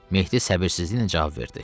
Mehdi səbirsizliklə cavab verdi.